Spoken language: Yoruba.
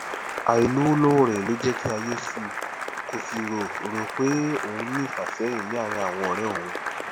àìlówó lọwọ rẹ ló jẹ kí ayé suu kó sì rò rò pé òun ní ìfàsẹyìn ní àárín àwọn ọrẹ òun